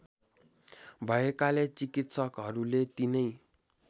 भएकाले चिकित्सकहरूले तिनै